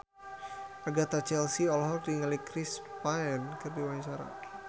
Agatha Chelsea olohok ningali Chris Pane keur diwawancara